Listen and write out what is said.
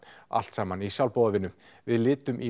allt saman í sjálfboðavinnu við litum í